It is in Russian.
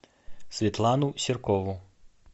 светлану серкову